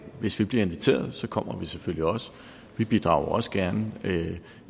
hvis vi bliver inviteret kommer vi selvfølgelig også vi bidrager også gerne